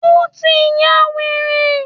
Ó tí n yá wèrè.